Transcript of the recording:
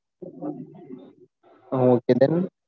Han okay done